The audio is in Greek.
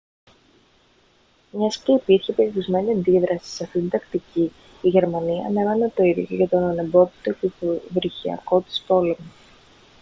μιας και υπήρχε περιορισμένη αντίδραση σε αυτή την τακτική η γερμανία ανέμενε το ίδιο και για τον ανεμπόδιστο υποβρυχιακό της πόλεμο